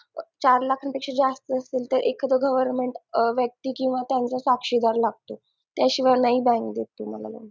चार लाखांपेक्षा जास्त असेल तर एखादा government व्यक्ती किंवा त्यांचा साक्षीदार लागतो त्याशिवाय bank नाही देत तुम्हाला